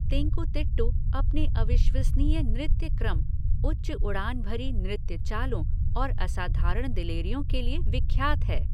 तेंकुतिट्टु अपने अविश्वसनीय नृत्य क्रम, उच्च उड़ान भरी नृत्य चालों और असाधारण दिलेरियों के लिए विख्यात है।